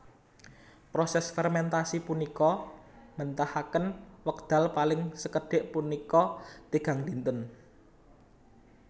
Proses fermentasi punika mbetahaken wekdal paling sekedhik punika tigang dinten